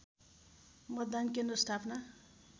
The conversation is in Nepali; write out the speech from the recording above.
मतदान केन्द्र स्थापना